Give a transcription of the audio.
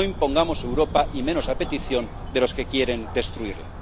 No impongamos Europa, y menos a petición de los que quieren destruirla.